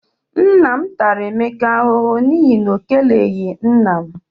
Nne m tara Emeka ahụhụ n'ihi na ọ keleghi nna m.